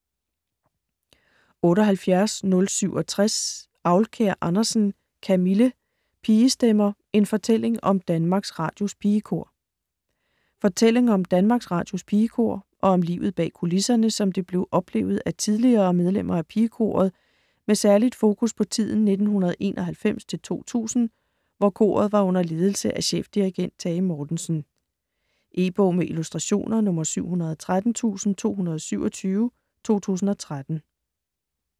78.067 Aulkær Andersen, Camille: Pigestemmer: en fortælling om Danmarks Radios Pigekor Fortælling om Danmarks Radios Pigekor og om livet bag kulisserne, som det blev oplevet af tidligere medlemmer af pigekoret med særligt fokus på tiden 1991-2000, hvor koret var under ledelse af chefdirigent Tage Mortensen. E-bog med illustrationer 713227 2013.